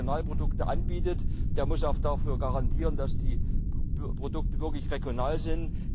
Der, der regionale Produkte anbietet, muss auch dafür garantieren, dass die Produkte wirklich regional sind.